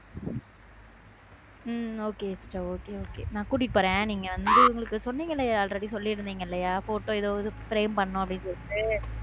உம் okay okay okay okay நான் கூட்டிட்டு போறேன் நீங்க வந்து இவங்களுக்கு already சொல்லுவீங்க இல்ல photo ஏதோ frame பண்ணனும் சொல்லிட்டு.